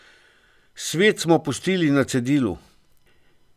Svet smo pustili na cedilu.